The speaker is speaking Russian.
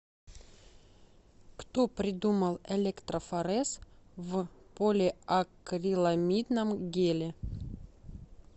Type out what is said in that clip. кто придумал электрофорез в полиакриламидном геле